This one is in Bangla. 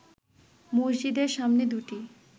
মসজিদের সামনে দুইটি